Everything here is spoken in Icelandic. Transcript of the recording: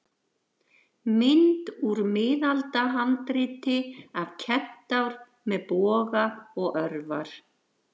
Mynd úr miðaldahandriti af kentár með boga og örvar.